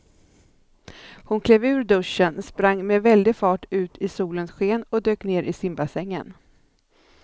Hon klev ur duschen, sprang med väldig fart ut i solens sken och dök ner i simbassängen.